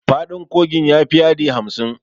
Faɗin kogin ya fi yadi hamsin.